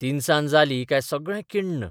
तिनसांज जाली काय सगळें किण्ण.